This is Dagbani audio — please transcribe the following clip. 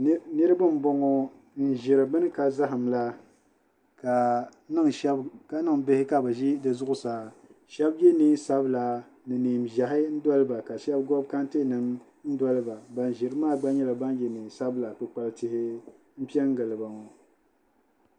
Niraba n boŋo n ʒiri bini ka zaham la ka niŋ bihi ka bi ʒi di zuɣusaa shab yɛ neen sabila ni neen ʒiɛhi n doliba ka shab gobi kɛntɛ nim n doliba ban ʒirili maa gba nyɛla ban yɛ neen sabila kpukpali tihi n pɛ giliba ŋo